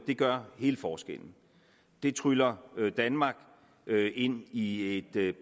gør hele forskellen det tryller danmark ind i et